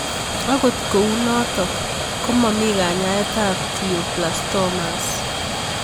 Akot kou notok ko mami kanyet ab Glioblastomas